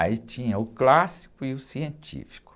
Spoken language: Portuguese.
Aí tinha o clássico e o científico.